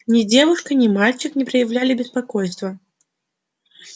ни девушка ни мальчик не проявляли беспокойства